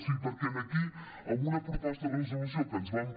sí perquè aquí amb una proposta de resolució que ens van